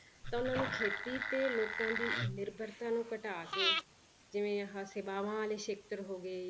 ਤਾਂ ਉਹਨਾਂ ਨੂੰ ਖੇਤੀ ਤੇ ਲੋਕਾਂ ਦੀ ਨਿਰਭਰਤਾ ਨੂੰ ਘਟਾ ਕੇ ਜਿਵੇਂ ਆਹ ਸੇਵਾਵਾਂ ਵਾਲੇ ਖੇਤਰ ਹੋ ਗਏ